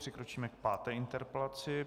Přikročíme k páté interpelaci.